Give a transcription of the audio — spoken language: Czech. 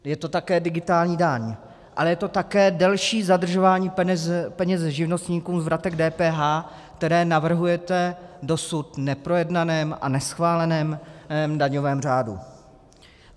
Je to také digitální daň, ale je to také delší zadržování peněz živnostníkům z vratek DPH, které navrhujete v dosud neprojednaném a neschváleném daňovém řádu.